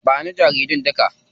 Ba ni jaridun duka.